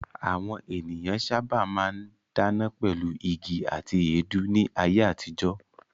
Àwọn ènìyàn sábà máa ń dáná pẹ̀lú igi àti èédú ní ayé àtijọ́.